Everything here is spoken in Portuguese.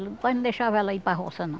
Ele quase não deixava ela ir para roça, não.